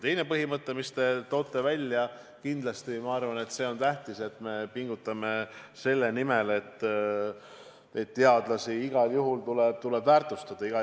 Teine põhimõte, mida te ka mainisite: kindlasti on tähtis, et me pingutame selle nimel, et teadlasi igal juhul tuleb väärtustada.